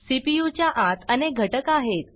CPU च्या आतअनेक घटक आहेत